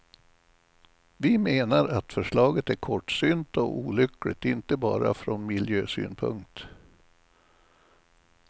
Vi menar att förslaget är kortsynt och olyckligt inte bara från miljösynpunkt.